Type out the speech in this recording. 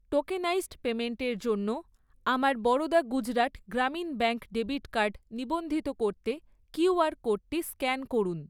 Tokenised পেইমেন্টের জন্য আমার Baroda Gujarat Gramin bank debit card নিবন্ধিত করতে কিউআর কোডটি স্ক্যান করুন।